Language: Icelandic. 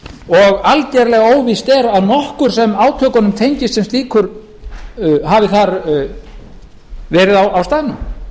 og algerlega óvíst er að nokkur sem átökunum tengist sem slíkur hafi þar verið á staðnum